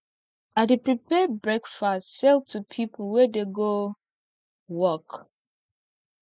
i dey prepare breakfast sell to pipo wey dey go work